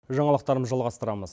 жаңалықтарымды жалғастырамыз